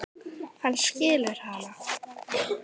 Hann skilur hana.